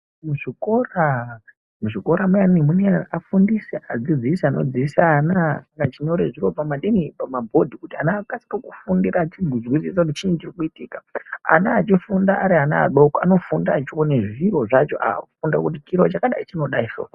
Muzvikora muyani mune afundisi, adzidzisi anodzidzise ana, achinyore zviro pamadini, pamabhodhi kuti ana akasike kufundira achizwisisa kuti chinyi chirikuitika. Ana echifunda, airana adoko anofunda echiona zviro zvacho kuti chiro chakadai chinodaiso.